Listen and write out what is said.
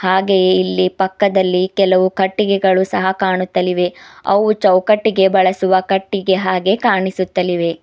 ಹಾಗೆಯೆ ಇಲ್ಲಿ ಪಕ್ಕದಲ್ಲಿ ಕೆಲವು ಕಟ್ಟಿಗೆಗಳು ಸಹ ಕಾಣುತ್ತಲಿವೆ ಅವು ಚೌಕಟ್ಟಿಗೆ ಬಳಸುವ ಕಟ್ಟಿಗೆ ಹಾಗೆ ಕಾಣಿಸುತ್ತಲಿವೆ.